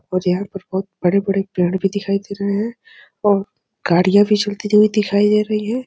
मुझे यहां पर बहुत बड़े-बड़े पेड़ भी दिखाई दे रहे है और गाड़ियां भी चल थी हुई दिखाई दे रही है।